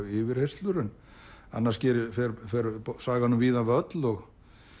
yfirheyrslur en annars fer sagan um víðan völl og